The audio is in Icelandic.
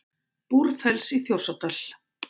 Búrfells í Þjórsárdal.